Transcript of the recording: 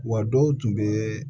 Wa dɔw tun bɛ